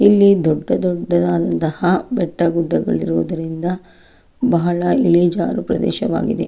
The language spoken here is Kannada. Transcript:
ಇಲ್ಲಿ ದೊಡ್ಡ ದೊಡ್ಡದಾದಂತಹ ಬೆಟ್ಟ ಗುಡ್ಡಗಳಿರುವುದರಿಂದ ಬಹಳ ಇಳಿ ಜಾರು ಪ್ರದೇಶವಾಗಿದೆ.